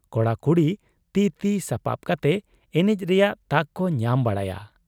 ᱠᱚᱲᱟ ᱠᱩᱲᱤ ᱛᱤ ᱛᱤ ᱥᱟᱯᱟᱵ ᱠᱟᱛᱮ ᱮᱱᱮᱡ ᱨᱮᱭᱟᱜ ᱛᱟᱠ ᱠᱚ ᱧᱟᱢ ᱵᱟᱲᱟᱭᱟ ᱾